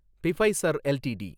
Pfizer LTD